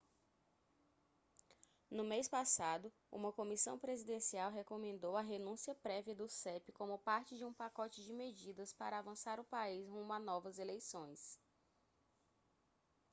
no mês passado uma comissão presidencial recomendou a renúncia prévia do cep como parte de um pacote de medidas para avançar o país rumo a novas eleições